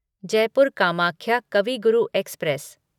Jaipur Kamakhya Kavi Guru express